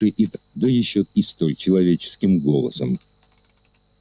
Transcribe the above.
да ещё и столь человеческим голосом